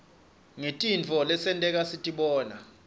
ngetirtifo letonteka sitibona